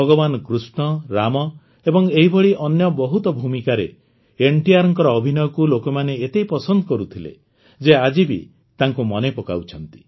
ଭଗବାନ କୃଷ୍ଣ ରାମ ଏବଂ ଏହିଭଳି ଅନ୍ୟ ବହୁତ ଭୂମିକାରେ ଏନ୍ଟିଆର୍ଙ୍କ ଅଭିନୟକୁ ଲୋକମାନେ ଏତେ ପସନ୍ଦ କରୁଥିଲେ ଯେ ଆଜିବି ତାଙ୍କୁ ମନେପକାଉଛନ୍ତି